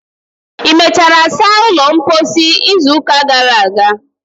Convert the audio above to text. ị mechara saa ulo mposi izu ụka gara aga?